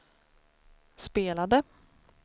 spelade